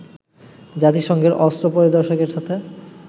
জাতিসংঘের অস্ত্র পরিদর্শকদের সাথে